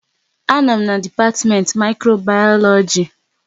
A nọ m n'dipatimenti Mikrobayoloji